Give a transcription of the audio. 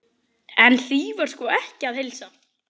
En því var sko ekki að heilsa.